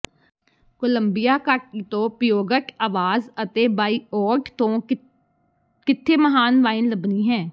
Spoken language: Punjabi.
ਕੋਲੰਬੀਆ ਘਾਟੀ ਤੋਂ ਪਿਊਗਟ ਆਵਾਜ਼ ਅਤੇ ਬਾਇਓਡ ਤੋਂ ਕਿੱਥੇ ਮਹਾਨ ਵਾਈਨ ਲੱਭਣੀ ਹੈ